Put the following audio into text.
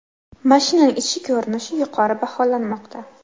Mashinaning ichki ko‘rinishi yuqori baholanmoqda.